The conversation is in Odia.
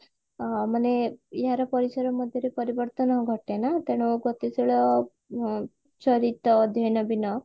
ମାନେ ଏହାର ପରିସର ମଧ୍ୟରେ ପରିବର୍ତନ ଘଟେ ନା ତେଣୁ ଗତିଶୀଳ ଚରିତ ଅଧ୍ୟୟନ ବିନା